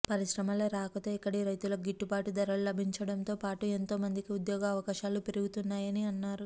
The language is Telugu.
పరిశ్రమల రాకతో ఇక్కడి రైతులకు గిట్టుబాటు ధరలు లబించడంతో పాటు ఎంతో మందికి ఉద్యోగ అవకాశాలు పెరుగుతాయని అన్నారు